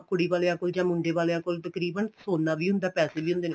ਕੁੜੀ ਵਾਲਿਆ ਕੋਲ ਜਾਂ ਮੁੰਡੇ ਵਾਲਿਆ ਕੋਲ ਤਕਰੀਬਨ ਸੋਨਾ ਵੀ ਹੁੰਦਾ ਏ ਪੈਸੇ ਵੀ ਹੁੰਦੇ ਨੇ